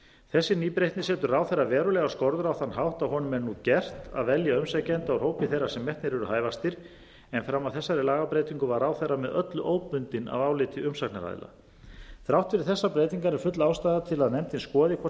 þessi nýbreytni setur ráðherra verulegar skorður á þann hátt að honum er nú gert að velja umsækjanda úr hópi þeirra sem metnir eru hæfastir en fram að þessari lagabreytingu var ráðherra með öllu óbundinn af áliti umsagnaraðila þrátt fyrir þessar breytingar er full ástæða til að nefndin skoði hvort